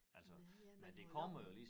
Ja ja men hvor lang